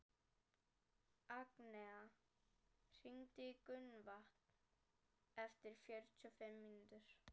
Agnea, hringdu í Gunnvant eftir fjörutíu og fimm mínútur.